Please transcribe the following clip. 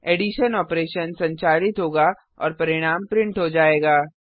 addition operation संचालित होगा और परिणाम प्रिंट हो जाएगा